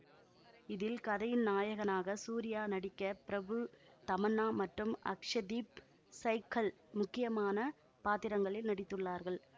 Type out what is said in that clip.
இதில் கதையின் நாயகனாக சூர்யா நடிக்க பிரபு தமன்னா மற்றும் அக்ஷதீப் சைக்ஹல் முக்கியமான பாத்திரங்களில் நடித்துள்ளார்கள்